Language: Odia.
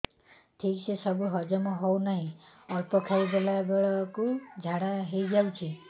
ଠିକସେ ସବୁ ହଜମ ହଉନାହିଁ ଅଳ୍ପ ଖାଇ ଦେଲା ବେଳ କୁ ଝାଡା ହେଇଯାଉଛି